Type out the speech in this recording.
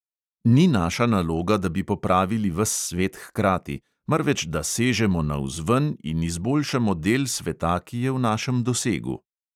Ni naša naloga, da bi popravili ves svet hkrati, marveč da sežemo navzven in izboljšamo del sveta, ki je v našem dosegu.